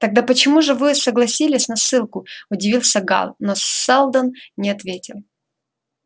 тогда почему же вы согласились на ссылку удивился гаал но салдон не ответил